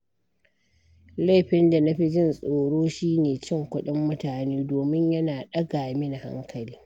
Laifin da na fi jin tsoro shi ne cin kuɗin mutane, domin yana ɗaga mini hankali.